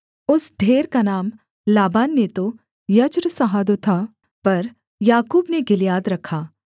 उस ढेर का नाम लाबान ने तो जैगर सहादुथा पर याकूब ने गिलियाद रखा